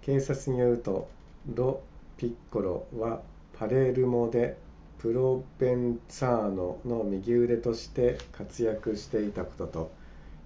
警察によるとロピッコロはパレルモでプロヴェンツァーノの右腕として活躍していたことと